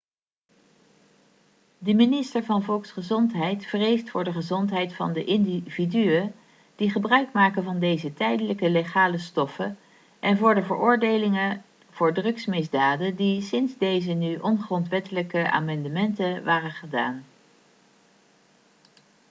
de minister van volksgezondheid vreest voor de gezondheid van de individuen die gebruikmaken van deze tijdelijk legale stoffen en voor de veroordelingen voor drugsmisdaden die sinds deze nu ongrondwettelijke amendementen waren gedaan